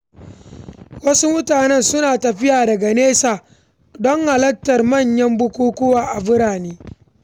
Wasu mutane suna tafiya daga nesa don halartar manyan bukukkuwa a birane.